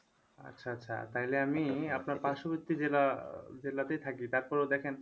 আচ্ছা আচ্ছা তাইলে আমি আপনার পার্শ্ববর্তি জেলা আহ জেলাতেই থাকি তারপরেও দেখেন